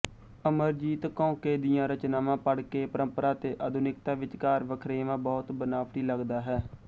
ਅਮਰਜੀਤ ਕੌਂਕੇ ਦੀਆਂ ਰਚਨਾਵਾਂ ਪੜ੍ਹ ਕੇ ਪਰੰਪਰਾ ਤੇ ਆਧੁਨਿਕਤਾ ਵਿਚਕਾਰ ਵਖਰੇਵਾਂ ਬਹੁਤ ਬਨਾਵਟੀ ਲਗਦਾ ਹੈ